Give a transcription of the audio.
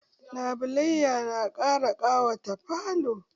Labulaiya na ƙara ƙawata falo.